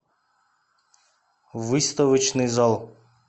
выставочный зал